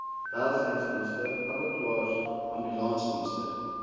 welsynsdienste abattoirs ambulansdienste